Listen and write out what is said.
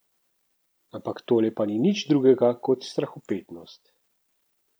Ampak tole pa ni nič drugega kot strahopetnost.